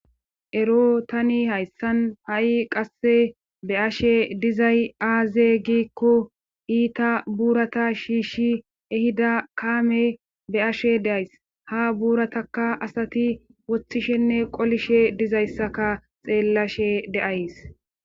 Ero tani hayssan ha'i qasse be ashe dizay aaze giikko iita buurata shiishshi ehida kaame be ashe deays ha buurataka asati woththishenne qolishe dizayssaka xeellashe deays.